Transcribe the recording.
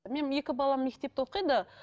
менің екі балам мектепте оқиды